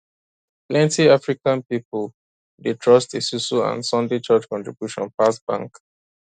plenty african pipo dey trust esusu and sunday church contribution pass bank